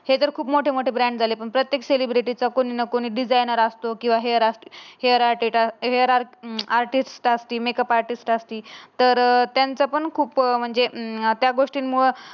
हे जर खूप मोठे मोठे ब्रँड झाले प्रत्येक सेलिब्रिटीचा कोणी ना कोणी डिजाइनर असतो कीव्हा हेयर असतो. हेअर राहते का हेअर आर्टिस्ट असते मेकअप आर्टिस्ट असते. तर त्यांचं पण खूप म्हणजे अं त्या गोष्टींमुळ